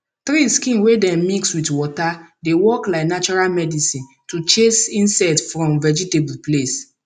tree skin wey dem mix with water dey work like natural medicine to chase insect from vegetable place